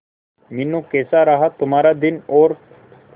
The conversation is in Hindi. मीनू कैसा रहा तुम्हारा दिन और